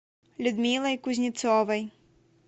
людмилой кузнецовой